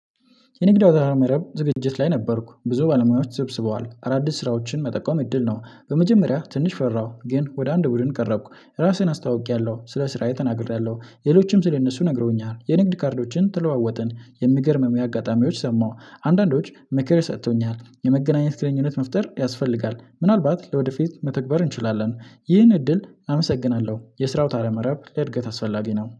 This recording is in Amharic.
የንግድ አውታረ መረብ ዝግጅት ላይ ነበርኩ ብዙ ባለሙያዎች ተሰብስበዋል አዳዲስ ስራዎችን መጠቆም እድል ነው። በመጀመሪያ ትንሽ ፈራሁ ግን ወደ አንድ ቡድን ቀረብኩ ራስህን አስተዋወቂያለሁ ስለ ስራዬ ተናግሬያለሁ። ሌሎችም ስለ እነሱ ነግሮኛል የንግድ ካርዶችን ተለዋወጥን የምገርምም አጋጣሚዎች ሰማሁ። አንዳንዶች ምክር ይሰጡተኛል የመገናኘት ግንኙነት መፍጠር ያስፈልጋል ምናልባት ለወደፊት መተግበር እንችላለን። ይህን እድል አመሰግናለሁ። የስራ አውታረ መረብ ለእድገት አስፈላጊ ነው